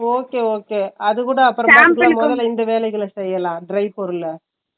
okay okay அதுகூட இந்த வேலைகள செய்யலாம் dry பொருள